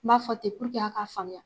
N b'a fɔ ten aw ka faamuya.